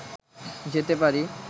যেতে পারি